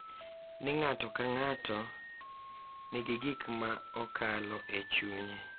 Ni ng’ato ka ng’ato nigi gik ma okalo e chunye .